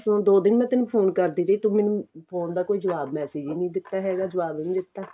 ਦੋ ਦਿਨ ਮੈਂ ਤੇਨੂੰ phone ਕਰਦੀ ਰਹੀ ਤੂੰ ਮੈਨੂੰ phone ਦਾ ਕੋਈ ਜਵਾਬ message ਹੀ ਨਹੀਂ ਦਿੱਤਾ ਹੈਗਾ ਜਵਾਬ ਹੀ ਨਹੀਂ ਦਿੱਤਾ